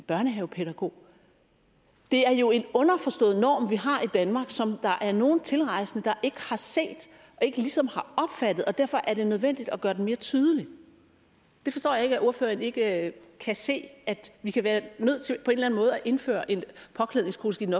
børnehavepædagog det er jo en underforstået norm vi har i danmark som der er nogle tilrejsende der ikke har set og ikke ligesom har opfattet og derfor er det nødvendigt at gøre den mere tydelig jeg forstår ikke at ordføreren ikke kan se at vi kan være nødt til på en eller anden måde at indføre et påklædningskodeks i den